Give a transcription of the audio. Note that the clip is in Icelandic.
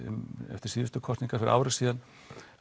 eftir síðustu kosningar fyrir ári síðan